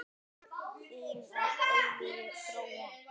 Þín að eilífu, Gróa.